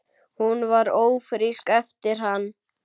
Hún varð ófrísk eftir hann.